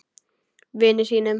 Vini sínum.